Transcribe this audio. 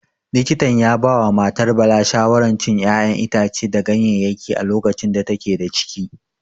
Likita ya ya ba wa matar Bala shawaran cin ƴaƴan itace da ganyayyaki a lokacin da take da ciki.